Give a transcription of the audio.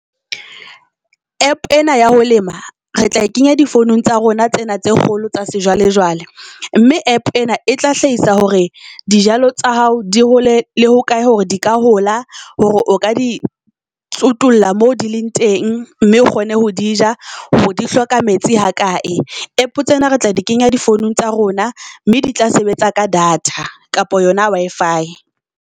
App ena ya ho lema re tla e kenya difounung tsa rona tsena tse kgolo tsa sejwale jwale mme App ena e tla hlahisa hore dijalo tsa hao di hole le ho kae hore di ka hola. Hore o ka di tsutulla mo di leng teng mme o kgone ho di ja, hore di hloka metsi ha kae. App tsena re tla di kenya difounung tsa rona mme di tla sebetsa ka data kapa yona Wi-Fi.